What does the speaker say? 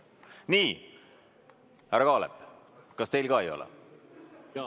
Nii, härra Kaalep, kas teil ka ei ole?